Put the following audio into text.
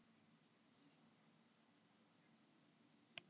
Við börðumst allan tímann og síðan gerum við þetta.